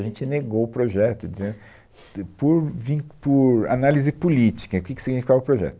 A gente negou o projeto, dizendo, de por vín, por análise política, o que que significava o projeto.